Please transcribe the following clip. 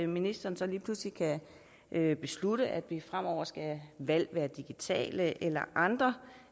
ministeren så lige pludselig kan beslutte at fremover skal valg være digitale eller andre